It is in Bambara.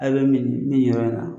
A bɛ min min yɛrɛ la